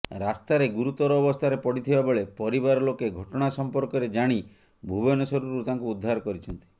ରାସ୍ତାରେ ଗୁରୁତର ଅବସ୍ଥାରେ ପଡ଼ିଥିବା ବେଳେ ପରିବାର ଲୋକେ ଘଟଣା ସମ୍ପର୍କରେ ଜାଣି ଭୁବନେଶ୍ୱରରୁ ତାଙ୍କୁ ଉଦ୍ଧାର କରିଛନ୍ତି